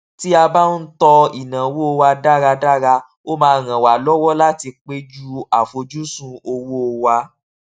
tí a bá ń tọ ináwó wa dáradára ó máa ràn wa lọwọ láti péjú àfojúsùn owó wa